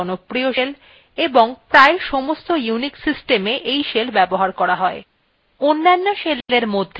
কারণ bash সর্বাপেক্ষা জনপ্রিয় shell এবং প্রায় সমস্ত unix সিস্টেমএ ব্যবহার করা যায়